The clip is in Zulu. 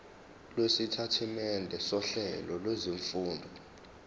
lwesitatimende sohlelo lwezifundo